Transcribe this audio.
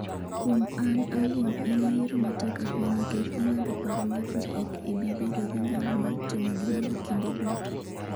Kuom an awuon en yiero matek ahinya nikech ing'ado paro mar ni ok ibi bedo gi nyalo mar timo gimoro kinde duto.